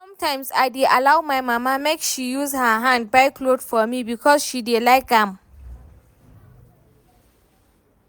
Sometimes I dey allow my mama make she use her hand buy cloth for me because she dey like am